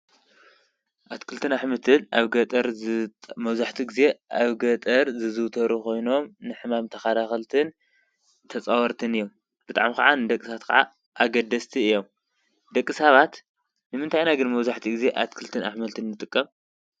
ኣትክልትን ኣሕምልትን ኣብ ገጠር መብዛሕትኡ ጊዜ ኣብ ገጠር ዝዝውተሩ ኾይኖም ንሕማም ተኸላኻልነትን ተፃወርትን እዮም፡፡ ብጣዕሚ ክዓ ንደቂሰባት ኣገደስቲ እዮም፡፡ ደቂ ሳባት ንምንታይ ኢና ግን መብዛሕትኡ ጊዜ ኣትክልትን ኣሕምልትን ንጥቀም?